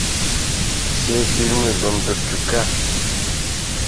все фильмы бондарчука